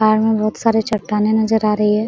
पहाड़ में बहुत सारे चट्टानें नजर आ रही है।